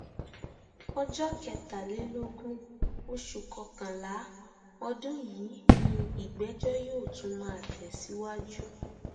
ọjọ kẹtàlélógún oṣù kọkànlá ọdún yìí ni ìgbẹjọ yóò tún máa tẹsíwájú